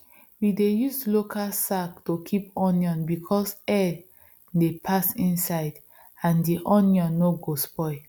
we dey use local sack to keep onion because air dey pass inside and di onion no go spoil